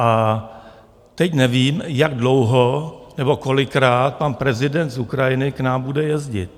A teď nevím, jak dlouho nebo kolikrát pan prezident z Ukrajiny k nám bude jezdit.